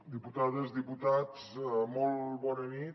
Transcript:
diputades diputats molt bona nit